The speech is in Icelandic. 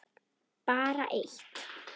Bara eitt